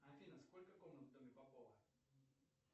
афина сколько комнат в доме попова